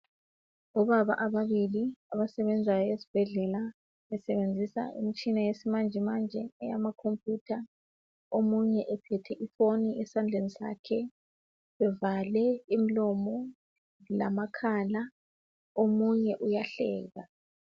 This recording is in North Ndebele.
Obaba ababili abasebenzayo esibhedlela basebenzisa imitshina yesimanjemanje amakhompuyutha omunye ephethe ifoni esandleni sakhe bevale umlomo lamakhala omunye uyahleka